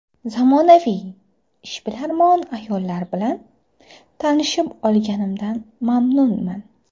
Zamonaviy, ishbilarmon ayollar bilan tanishib olinganimdan mamnunman”.